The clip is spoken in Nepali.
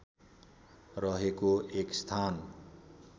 रहेको एक स्थान